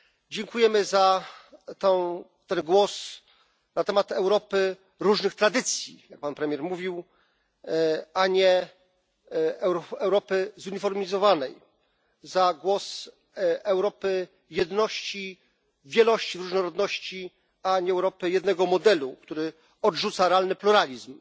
Dziękujemy za ten głos na temat Europy różnych tradycji jak Pan Premier mówił a nie Europy zuniformizowanej, za głos Europy jedności, wielości i różnorodności, a nie Europy jednego modelu, który odrzuca realny pluralizm.